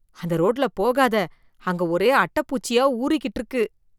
அந்த ரோட்ல போகாத, அங்க ஒரே அட்டை பூச்சியா ஊறிக்கிட்டு இருக்கு.